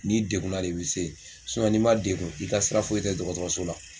N'i degun na de i be se yen sinɔn n'i ma degun i ka sira foyi tɛ dɔgɔtɔrɔso la